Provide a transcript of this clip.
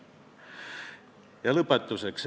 Ja lõpetuseks.